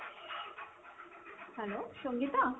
hello Sangeeta?